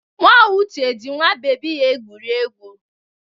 Nwa Uche ji nwa bebi ya egwuri egwu.